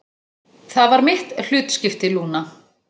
Það var mitt hlutskipti, Lúna.